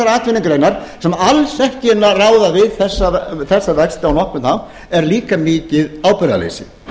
atvinnugreinar sem alls ekki ráða við þessa vexti á nokkurn hátt er líka mikið ábyrgðarleysi